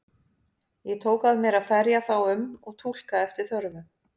Ég tók að mér að ferja þá um og túlka eftir þörfum.